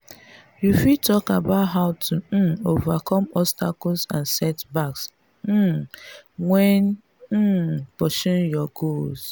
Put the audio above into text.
you fit talk about how to um overcome obstacles and setbacks um when um pursuing your goals.